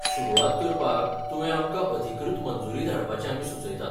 सुरवात करपाक तुवें आमकां अधिकृत मंजुरी धाडपाचें आमी सुचयतात.